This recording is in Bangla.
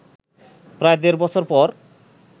প্রায় দেড় বছর পর